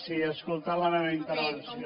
si ha escoltat la meva intervenció